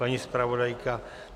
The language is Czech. Paní zpravodajka?